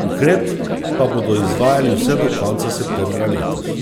ukrep pa bodo izvajali vse do konca septembra letos.